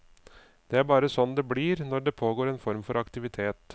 Det er bare sånn det blir når det pågår en form for aktivitet.